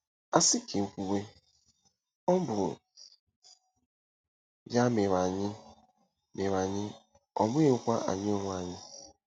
A sị ka e kwuwe, "Ọ bụ ya mere anyị, mere anyị, ọ bụghịkwa anyị onwe anyị."